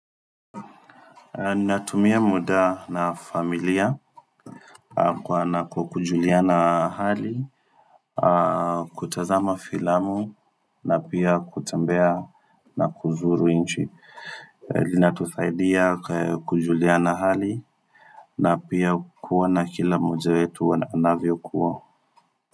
Ninatumia muda na familia kuona ku kujuliana hali kutazama filamu na pia kutembea na kuzuru inchi inatusaidia kujuliana hali na pia kuona kila moja yetu wanavyokuwa.